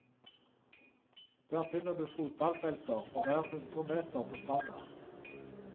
Der finner du fotballfelter for hver hundre meter på stranda.